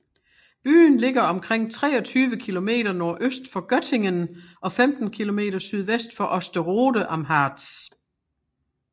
Byen ligger omkring 23 km nordøst for Göttingen og 15 km sydvest for Osterode am Harz